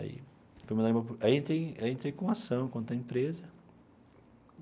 Aí entrei aí entrei com a ação contra a empresa.